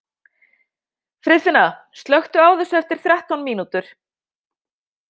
Friðfinna, slökktu á þessu eftir þrettán mínútur.